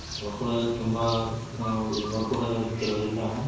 ನೋಡ್ಕೊಳೋದ್ ಆದ್ರೆ ತುಂಬಾ ಇಗ್ ನೋಡ್ಕೊಳೋದ್ ಆದ್ರೆ ಕೆಲವ್ರೆಲ್ಲ